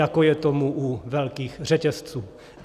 jako je tomu u velkých řetězců.